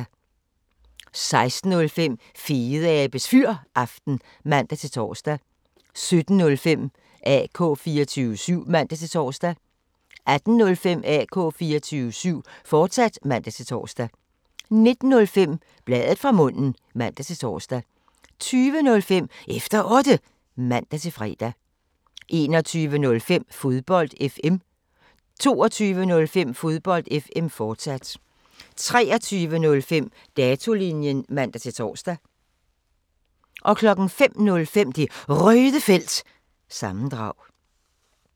16:05: Fedeabes Fyraften (man-tor) 17:05: AK 24syv (man-tor) 18:05: AK 24syv, fortsat (man-tor) 19:05: Bladet fra munden (man-tor) 20:05: Efter Otte (man-fre) 21:05: Fodbold FM 22:05: Fodbold FM, fortsat 23:05: Datolinjen (man-tor) 05:05: Det Røde Felt – sammendrag